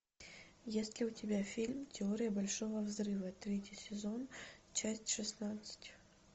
есть ли у тебя фильм теория большого взрыва третий сезон часть шестнадцать